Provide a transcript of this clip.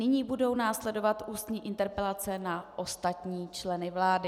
Nyní budou následovat ústní interpelace na ostatní členy vlády.